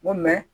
N ko